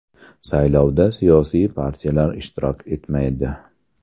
Saylovda siyosiy partiyalar ishtirok etmaydi.